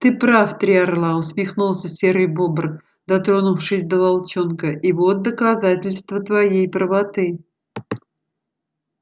ты прав три орла усмехнулся серый бобр дотронувшись до волчонка и вот доказательство твоей правоты